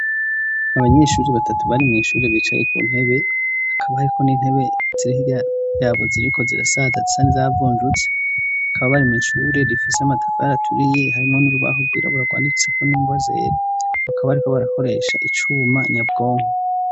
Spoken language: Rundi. Abanyeshuri batatu bari mw'ishuri bicaye ku ntebe hakaba ahiko n'intebe zirihirya yabo ziriko zira satatu sandi zavunjutse hakaba bari mw'ichuri rifise amatafari aturiye harimo n'urubaho rwiraburarwandikseko n'ingo zere bakaba, ariko barakoresha icuma nyabwonko.